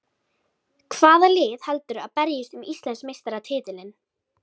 Hvaða lið heldurðu að berjist um Íslandsmeistaratitilinn?